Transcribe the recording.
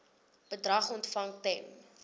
bedrag ontvang ten